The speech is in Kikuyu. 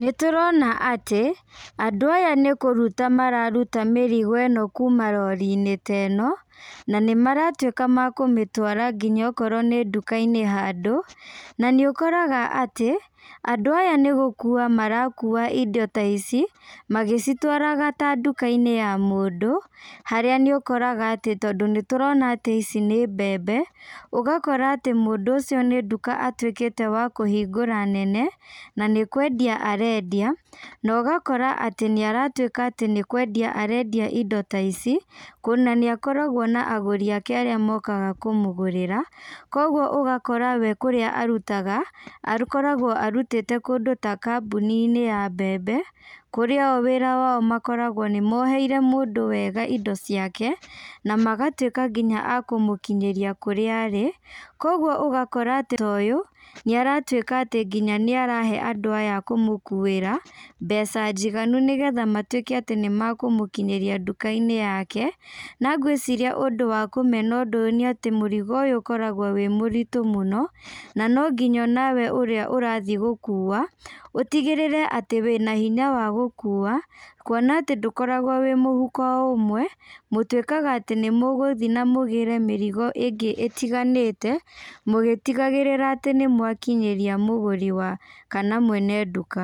Nĩtũrona atĩ, andũ aya nĩkũruta mararuta mĩrigo ĩno kuma rorinĩ ta ĩno, na nĩmaratuĩka makũmĩtwara nginya okorwo nĩ ndukainĩ handũ, na nĩũkoraga atĩ, andũ aya nĩgũkua marakua indo ta ici, magĩcitwaraga ta ndukainĩ ya mũndũ, harĩa nĩ ũkoraga atĩ tondũ nĩtũrona atĩ ici nĩ mbembe, ũgakora atĩ mũndũ ũcio nĩ nduka atuĩkĩte wa kũhingũra nene, na nĩkwendia arendia, na ũgakora atĩ nĩaratuĩka atĩ nĩkwendia arendia indo ta ici, kuona nĩakoragwo na agũri ake arĩa mokaga kũmũgũrĩra, koguo ũgakora we kũrĩa arutaga, akoragwo arutĩte kũndũ ta kambũninĩ ya mbembe, kũrĩa o wĩra wao makoragwo nĩmoheire mũndũ wega indo ciake, na magatuĩka nginya a kũmũkinyĩria kũrĩa arĩ, koguo ũgakora atĩ ta ũyũ, nĩaratuĩka atĩ nginya nĩarahe andũ aya akũmũkuĩra, mbeca njiganu nĩgetha matuĩke atĩ nĩmakũmũkinyĩria ndukainĩ yake, na ngwĩciria ũndũ wa kũmena ũndũ ũyũ nĩatĩ mũrigo ũyũ ũkoragwo wĩ mũritũ mũno, na nonginya onawe ũrĩa ũrathi gũkua, ũtigĩrĩre atĩ wĩna hinya wa gũkua, kuona atĩ ndũkoragwo wĩ mũhuko ũmwe, mũtuĩkaga atĩ nĩmũgũthi namũgĩre mĩrigo ĩngĩ ĩtiganĩte, mũgĩtigagĩrĩra atĩ nĩmwakinyĩria mũguri wa kana mwene nduka.